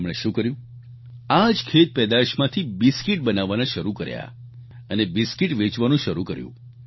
તેમણે શું કર્યું આ જ ખેત પેદાશમાંથી બિસ્કિટ બનાવવાના શરૂ કર્યા અને બિસ્કિટ વેચવાનું શરૂ કર્યું